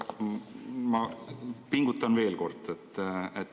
Aga ma pingutan veel kord.